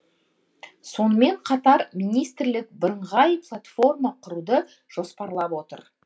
сонымен қатар министрлік бірыңғай платформа құруды жоспарлап отыр